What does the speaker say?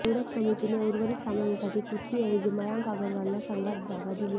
त्यामुळे निवड समितीने उर्वरित सामन्यांसाठी पृथ्वीऐवजी मयांक अगरवालला संघात जागा दिली आहे